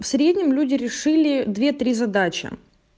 в среднем люди решили две три задачи